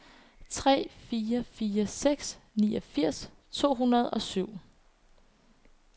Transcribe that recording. tre fire fire seks niogfirs to hundrede og syv